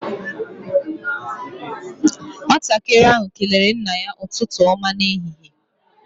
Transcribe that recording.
Nwatakịrị ahụ kelere nna ya ụtụtụ ọma n'ehihie.